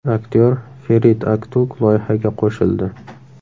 Aktyor Ferit Aktug loyihaga qo‘shildi.